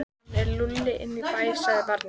Hann er lúlla inn í bæ, sagði barnið.